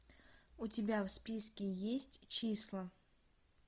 у тебя в списке есть числа